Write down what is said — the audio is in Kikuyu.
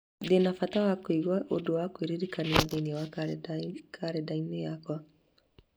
Ndĩ na bata wa kũiga ũndũ wa kwĩririkania thĩinĩ wa kalendarĩ yakwa.